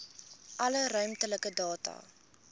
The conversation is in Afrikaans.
alle ruimtelike data